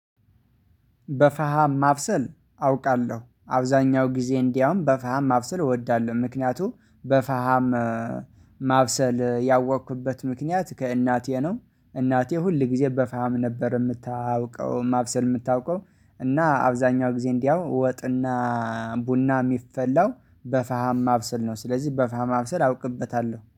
በፈሃም ማብሰል አውቃለሁ አብዛኛው ጊዜ እንዲያውም በፈሃም ማብሰል እወዳለሁ። ምክንያቱም በፈሃም ማብሰል ያወቅኩበት ምክንያት ከእናቴ ነው። እናቴ ሁል ጊዜ በፋሃም ነበር የምታውቀው ማብሰል የምታውቀው። እና አብዛኛው ጊዜ እንዲያው ወጥና ቡና የሚፈላው በፈሃም ማብሰል ነው። ስለዚህ በፈሃም ማብሰል አውቅበታለሁ